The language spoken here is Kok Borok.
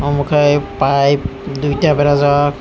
amo kei pipe duita berajak.